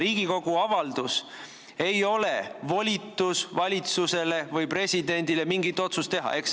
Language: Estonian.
Riigikogu avaldus ei ole volitus valitsusele või presidendile mingit otsust teha.